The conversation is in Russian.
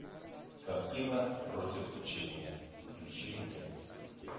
картина против течения включи мне